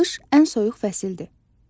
Qış ən soyuq fəsildir.